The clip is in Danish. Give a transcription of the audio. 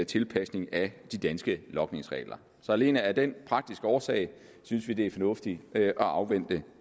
tilpasning af de danske logningsregler alene af den praktiske årsag synes vi det er fornuftigt at afvente